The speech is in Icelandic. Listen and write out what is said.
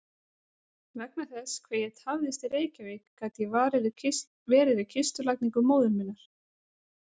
Vegna þess hve ég tafðist í Reykjavík gat ég verið við kistulagningu móður minnar.